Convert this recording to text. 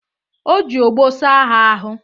O ji ogboo saa ha ahụ.